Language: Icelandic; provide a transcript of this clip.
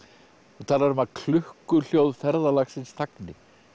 þú talar um að ferðalagsins þagni